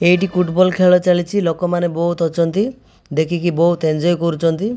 ଏଇଠି ଫୁଟବଲ ଖେଳ ଚାଲିଛି ଲୋକମାନେ ବହୁତ ଅଛନ୍ତି ଦେଖିକି ବହୁତ୍ ଏଞ୍ଜୟ୍ କରୁଛନ୍ତି।